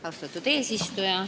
Austatud eesistuja!